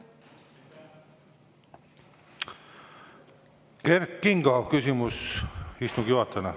Kert Kingo, küsimus istungi juhatajale.